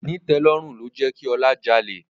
Àìnítẹ̀ẹ́lọ́rùn ló jẹ́ kí Ọlá jalè